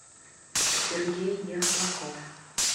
сергей ехлаков